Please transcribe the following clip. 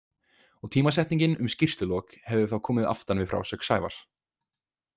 Og tímasetningin um skýrslulok, hefði þá komið aftan við frásögn Sævars.